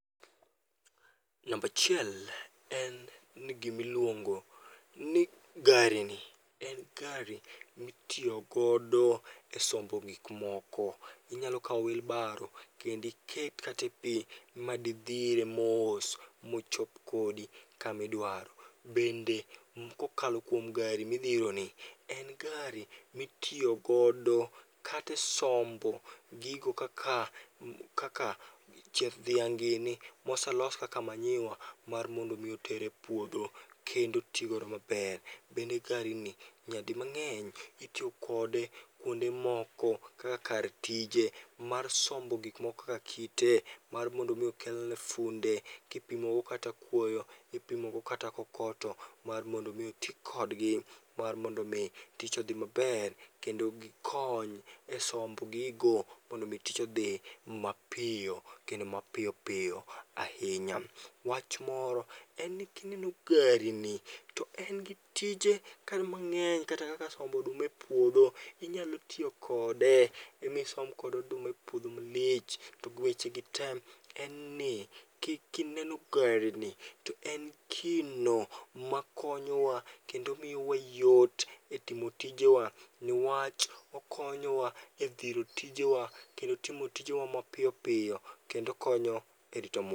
Nambachiel en ni gimiluongo ni gari ni, en gari mitiyogodo e sombo gikmoko. Inyalo kawo wheelbarrow kendiket kate pi madidhire mos mochop kodi kamidwaro. Bende kokalo kuom gari midhironi, en gari mitiyogodo kate sombo gigo kaka, kaka chieth dhiang' nini. Moselos kaka manyiwa mar mondo mi oter e puodho, kendo otigodo maber. Bende gari ni nyadi mang'eny itiyokode kuonde moko kaka kar tije mar sombo gikmoko kaka kite, mar mondo mi okelne funde. Kipimogo kata kuoyo, kipimogo kata kokoto mar mondo mi oti kodgi. Mar mondo mi tich odhi maber kendo gikony e sombo gigo mondo mi tich odhi mapiyo kendo mapiyo piyo ahinya. Wach moro en ni kineno gari ni to en gi tije kanyo mang'eny kata kaka sombo oduma e puodho. Inyalo tiyo kode misombgodo oduma e puodho malich, togiweche gi tem, em ni kineno gari ni to en gino makonyowa. Kendo miyowa yot e timo tijewa, niwach okonyowa e dhiro tijewa kendo timo tijewa mapiyopiyo. Kendo konyo e rito mwa.